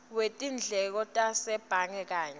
wetindleko tasebhange kanye